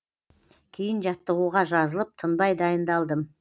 кейін жаттығуға жазылып тынбай дайындалдым